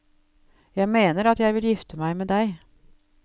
Jeg mener at jeg vil gifte meg med deg.